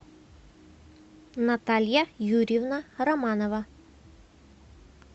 наталья юрьевна романова